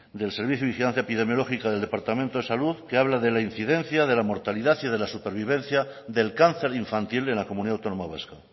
del servicio de vigilancia epidemiológica del departamento de salud que habla de la incidencia de la mortalidad y de la supervivencia del cáncer infantil en la comunidad autónoma vasca